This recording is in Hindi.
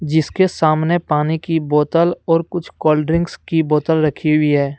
जिसके सामने पानी की बोतल और कुछ कोल्ड ड्रिंक की बोतल रखी हुई है।